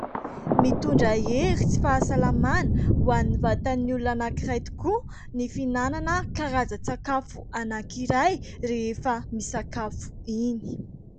Mitondra hery tsy fahasalamana ho any vatan'ny olona anankiray tokoa ny fihinanana karazan-tsakafo anankiray rehefa misakafo iny.